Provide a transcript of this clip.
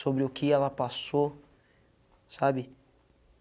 sobre o que ela passou, sabe?